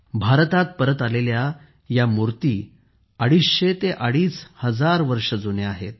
भारतात परत आलेल्या या मुर्त्या अडीच हजारांपासून अडीचशे वर्ष जुन्या आहेत